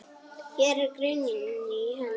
Hér er greinin í heild.